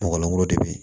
Mɔgɔ langolo de bɛ yen